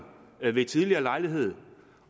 ved en tidligere lejlighed